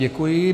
Děkuji.